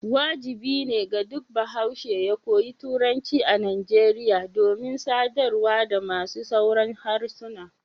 wajibi ne ga duk bahaushe ya koyi Turanci a Nigeria domin sadarwa da masu sauran harsuna.